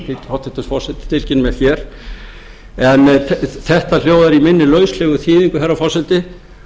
hæstvirtur forseti tilkynnir mér hér en textinn hljóðar í minni lauslegu þýðingu herra forseti